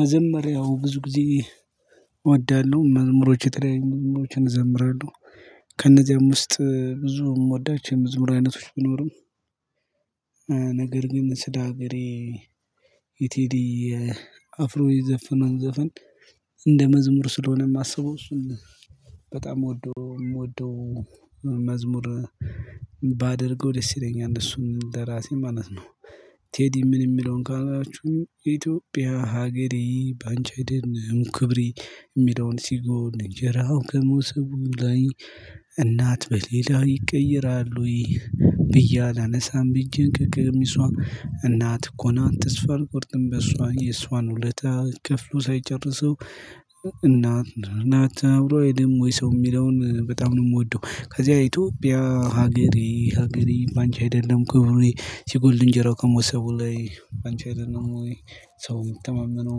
መጀመሪያው ብዙ ጊዜ እወድሃለሁ መዝሙሮች የተለያኝ መዝሙሮችን እዘምራለሁ። ከእነዚያም ውስጥ ብዙም ምወዳች የመዝሙር አይነቶች ቢኖሩም። ነገር ግን ስለ ሀገሬ። የቴዲ አፍሮ የዘፈነውን ዘፈን። እንደ መዝሙር ስለሆነ የማስበው እሱን በጣም የምወደው የምወደው መዝሙር። ባደርገው ደስ ይለኛል እሱን እንደራሴ ማለት ነው። ቴዲ ምን የሚለውን ካላችሁ ኢትዮጵያ ሀገሬ በአንቺ አይደለም ክብሬ የሚለውን ሲጎን እንጀራው ከመሶቡ ላይ። በሌላ ይቀየራል ወይ? ብዬ አላነሳም። እጄን ከቀሚሷ እናት እኮ ናን ተስፋ አልቆርጥም በእሷ የእሷን ውለታ ክፍሎ ሳይጨርሰው። እናት እንን አብሮ አይደለም ወይ ሰው የሚለውን በጣም ነው የምወደው። ከዚያ ኢትዮጵያ ሀገሬ ሀገሬ ባንቺ አይደለም ኩብሬ ሲጎድል እንጀራው ከመሶቡ ላይ ባንቺ አይደለም ወይ? ሰው ሚተማመነው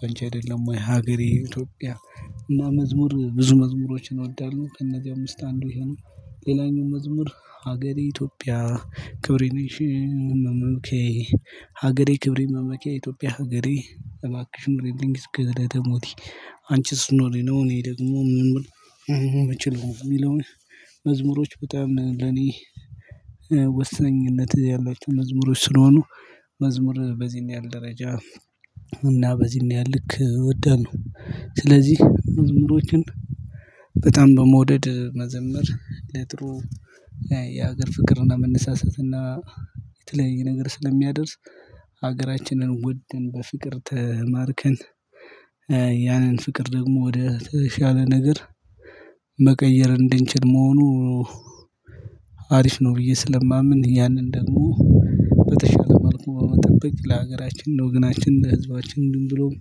በ አንቺ አይደለም ወይ? ሀገሬ ኢትዮጵያ። እና መዝሙር ብዙ መዝሙሮችን እወዳለሁ ከነዚያው ውስጥ አንዱ ይሄ ነው። ሌላኛው መዝሙር ሀገሬ ኢትዮጵያ። ክብሬ ነሽ መመኪያዬ ሀገሬ ክብሬ መመኪያ ኢትዮጵያ ሀገሬ እባክሽን ኑሪልኝ እስከ እለተ ሞቴ። አንቺ ስትኖሪ ነው እኔ ደግሞ መኖር የምችለው የሚለውን። መዝሙሮች በጣም ለኔ ወሳኝነት ያለች መዝሙሮች ስለሆኑ። መዝሙር በዚህን ያህል ደረጃ እና በዚህን ያህል ልክ እወዳለሁ። ስለዚህ መዝሙሮችን በጣም በመውደድ መዘምር ለጥሩ የሀገር ፍቅርና መነሳሳትና የተለየ ነገር ስለሚያደርስ ሀገራችንን ወደን በፍቅር ተማርከን። ያንን ፍቅር ደግሞ ወደ ተሻለ ነገር መቀየር እንድንችል መሆኑ። አሪፍ ነው ብዬ ስለማምን ያንን ደግሞ በተሻለ መልኩ መጠበቅ ለሀገራችን ለወገናችን ለህዝባችን ብሎም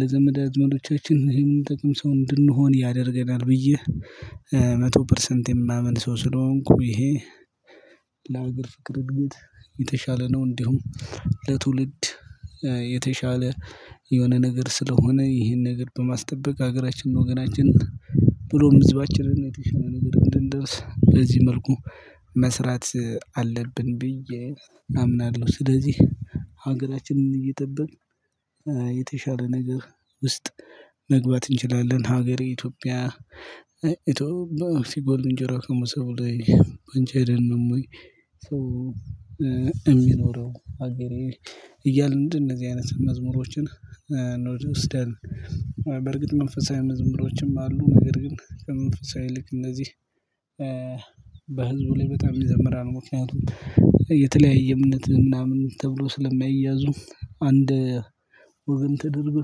ለዘመድ አዝማዶቻችን የምንጠቅም ሰው እንድንሆን ያደርገናል። ብዬ መቶ ፐርሰንት የማመን ሰው ስለሆንኩ ይሄ። ለአገር ፍቅር እድገት የተሻለ ነው። እንዲሁም ለትውልድ የተሻለ የሆነ ነገር ስለሆነ ይሄን ነገር በማስጠበቅ ሀገራችንን ወገናችን ብሎ ሕዝባችንን የተሻለ ነገር እንድንደርስ በዚህ መልኩ መስራት አለብን ብዬ አምናለሁ። ስለዚህ ሀገራችንን እየጠበቅን የተሻለ ነገር ውስጥ መግባት እንችላለን። ሀገሬ ኢትዮጵያ ኢትዮጵያ ሲጎልእንጀራ ከመሶቡ ላይ ባንቺ አይደለንም ወይ? ሰው የሚኖረው ሀገሬ እያልን እንደዚህ አይነት መዝሙሮችን እንወስዳለን። በርግጥ መንፈሳዊ መዝሙሮችም አሉ ነገር ግን ከመንፈሳዊ ይልቅ እንደዚህ በህዝቡ ላይ በጣም ይዘምራል። ምክንያቱም የተለያየ እምነት ምናምን ተብሎ ስለማይያዙ አንድ ወገን ተደርጎ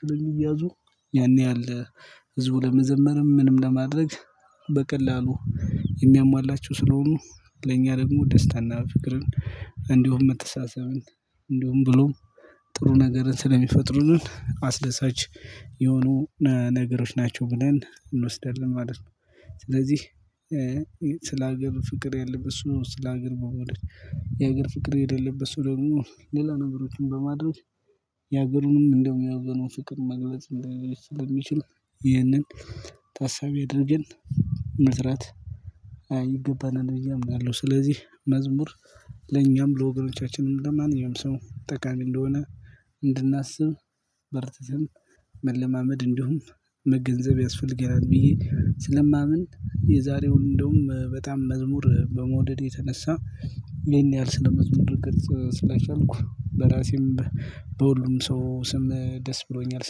ስለሚያዙ። ያኔ ያለ ህዝቡ ለመዘመርም ምንም ለማድረግ በቀላሉ የሚያሟላችሁ ስለሆኑ። ለእኛ ደግሞ ደስታና ፍቅርን እንዲሁም መተሳሰብን እንዲሁም ብሎ ጥሩ ነገርን ስለሚፈጥሩን አስደሳች የሆኑ ነገሮች ናቸው። ብለን እንወስዳለን ማለት ነው። ስለዚህ ስለ ሀገር ፍቅር የለም እሱ ስለ ሀገር መወደድ የሀገር ፍቅር የሌለበት ሰው ደግሞ ሌላ ነገሮችን በማድረግ። የሀገሩንም እንደው የወገኑን ፍቅር መግለጽ እንደሚችል ይህንን ታሳቢ አድርገን ምስራት ይገባናል ብዬ አምናለሁ። ስለዚህ መዝሙር ለኛም ለወገኖቻችንም ለማንኛው ጠቃሚ እንደሆነ እንድናስብ በርትተን መለማመድ እንዲሁም መገንዘብ ያስፈልገናል ብዬ ስለማምን። የዛሬውን እንደውም በጣም መዝሙር በመውደዴ የተነሳ ይሄን ያህል ስለመዝሙር ልገልጽ ስለቻልኩ በራሴም በሁሉም ሰው ስም ደስ ብሎኛል።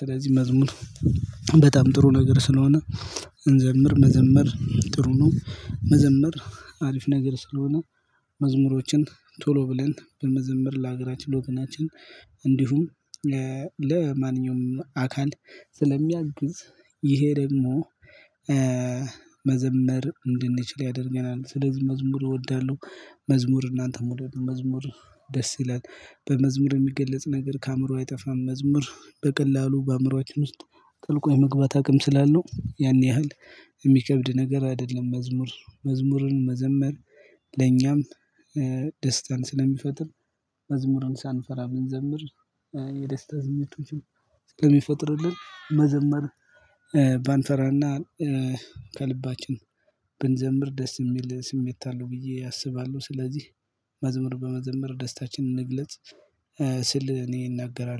ስለዚህ መዝሙር በጣም ጥሩ ነገር ስለሆነ። እንዘምር መዘምር ጥሩ ነው። መዘመር አሪፍ ነገር ስለሆነ። መዝሙሮችን ቶሎ ብለን በመዘመር ለሀገራችን ለወገናችን እንዲሁም ለማንኛውም አካል ስለሚያግዝ። ይሄ ደግሞ መዘመር እንድንችል ያደርገናል ስለዚህ መዝሙር እወዳለሁ። መዝሙር እናንተ መውደድ ነው መዝሙር ደስ ይላል በመዝሙር የሚገለጽ ነገር ከአእምሮዋ አይጠፋም። መዝሙር በቀላሉ በአእምሮአችን ውስጥ ጥልቁ የመግባት አቅም ስላለው። ያን ያህል የሚከብድ ነገር አይደለም። መዝሙር መዝሙርን መዘመር። ለኛም ደስታን ስለሚፈጥር። መዝሙርን ሳንፈራ ብንዘምር የደስታ ስሜቶችን እስከሚፈጥርልን መዘመር። ባንፈራና ከልባችን ብንዘምር ደስ የሚል ስሜት አለው ብዬ አስባለሁ። ስለዚህ መዝሙር በመዝመር ደስታችንን እንግለጽ። ስል እኔ እናገራለሁ